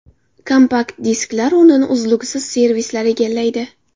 Kompakt-disklar o‘rnini uzluksiz servislar egallaydi.